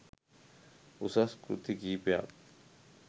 උසස් කෘති කිහිපයක්.